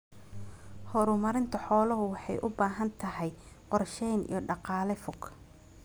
Horumarinta xooluhu waxay u baahan tahay qorshayn iyo dhaqaale fog.